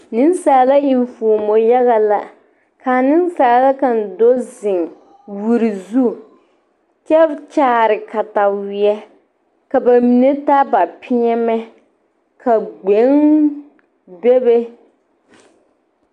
Nensaala enfuomo yaga la k,a nensaala kaŋ do zeŋ wiri zu kyɛ kyaare kataweɛ ka ba mine taa ba peɛmɛ ka gbegni bebe.